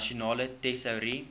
nasionale tesourie